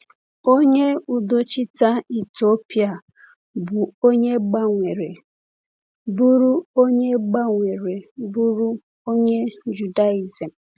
Onye udochite Etiopịa bụ onye gbanwere bụrụ onye gbanwere bụrụ onye Judaizim.